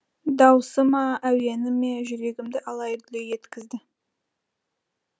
дауысы ма әуені ме жүрегімді алай дүлей еткізді